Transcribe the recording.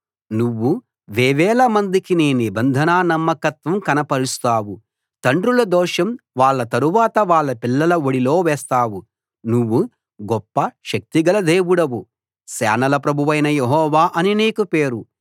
నువ్వు వేవేల మందికి నీ నిబంధనా నమ్మకత్వం కనపరుస్తావు తండ్రుల దోషం వాళ్ళ తరువాత వాళ్ళ పిల్లల ఒడిలో వేస్తావు నువ్వు గొప్ప శక్తిగల దేవుడవు సేనల ప్రభువైన యెహోవా అని నీకు పేరు